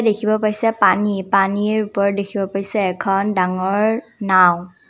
দেখিব পাইছে পানী পানীৰ ওপৰত দেখিব পাইছে এখন ডাঙৰ নাওঁ।